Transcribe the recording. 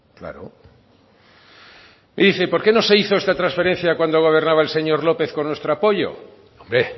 claro y dice por qué no se hizo esta transferencia cuando gobernaba el señor lópez con nuestro apoyo hombre